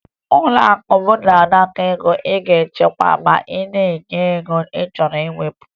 Ụlọakụ m na-anakọ ego a ga-echekwa ma na-enye ego a chọrọ iwepụ